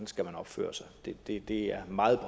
skal opføre sig det det er meget